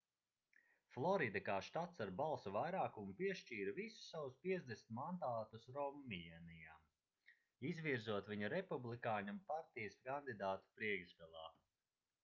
florida kā štats ar balsu vairākumu piešķīra visus savus 50 mandātus romnijam izvirzot viņu republikāņu partijas kandidātu priekšgalā